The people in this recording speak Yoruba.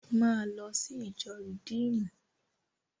Máa lọ sí ìjọ Rìdíímùnù!